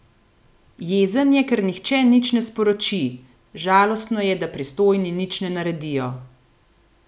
Jezen je, ker nihče nič ne sporoči: "Žalostno je, da pristojni nič ne naredijo ...